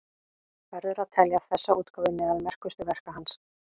Verður að telja þessa útgáfu meðal merkustu verka hans.